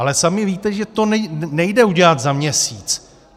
Ale sami víte, že to nejde udělat za měsíc.